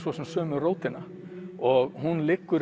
sömu rótina og hún liggur